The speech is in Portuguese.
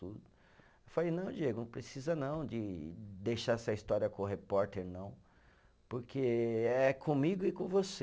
Eu falei, não Diego, não precisa não de deixar essa história com o repórter não, porque é comigo e com você.